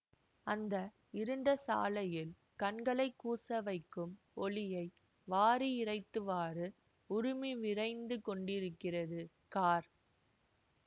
அந்த இருண்ட சாலையில் கண்களை கூசவைக்கும் ஓளியை வாரி இறைத்தவாறு உறுமி விரைந்து கொண்டிருக்கிறது கார்